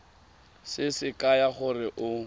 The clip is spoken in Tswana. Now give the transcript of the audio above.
se se kaya gore o